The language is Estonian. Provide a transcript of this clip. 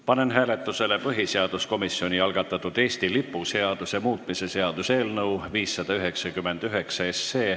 Panen hääletusele põhiseaduskomisjoni algatatud Eesti lipu seaduse muutmise seaduse eelnõu 599.